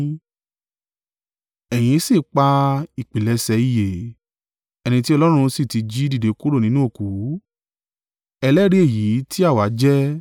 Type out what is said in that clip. Ẹ̀yin sì pa ìpilẹ̀ṣẹ̀ ìyè, ẹni tí Ọlọ́run sì ti jí dìde kúrò nínú òkú; ẹlẹ́rìí èyí ti àwa jẹ́.